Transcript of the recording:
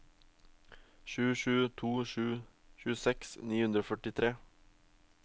sju sju to sju tjueseks ni hundre og førtitre